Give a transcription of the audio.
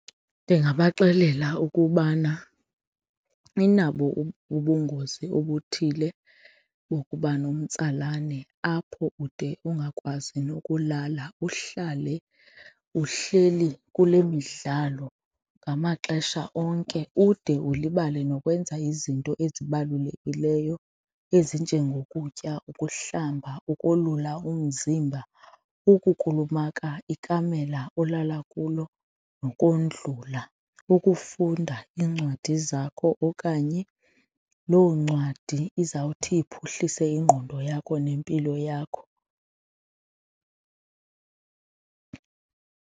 Ndingabaxelela ukubana inabo ubungozi obuthile nokuba nomtsalane apho ude ungakwazi nokulala uhlale uhleli kule midlalo ngamaxesha onke ude ulibale nokwenza izinto ezibalulekileyo, ezinjengokutya, ukuhlamba ukolula umzimba, ukukulumaka ikamela olala kuyo nokondlula, ukufunda iincwadi zakho okanye loo ncwadi izawuthi iphuhlise ingqondo yakho nempilo yakho.